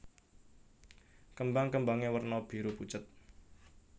Kembang kembangé werna biru pucet